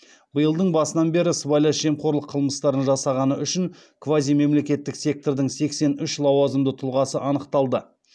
биылдың басынан бері сыбайлас жемқорлық қылмыстарын жасағаны үшін квазимемлекеттік сектордың сексен үш лауазымды тұлғасы анықталды